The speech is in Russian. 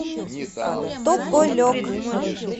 тополек